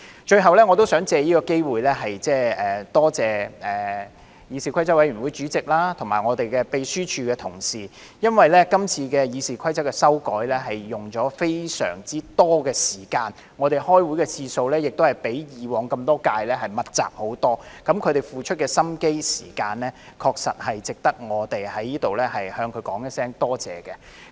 最後，我想藉此機會多謝議事規則委員會主席及立法會秘書處的同事，因為今次《議事規則》的修訂花了非常多的時間，我們開會的次數較以往這麼多屆密集很多，他們付出的心機和時間確實值得我們在這裏向他們說聲多謝。